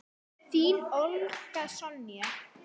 Þín, Olga Sonja.